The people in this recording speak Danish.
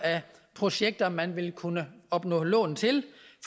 projekter man vil kunne opnå lån til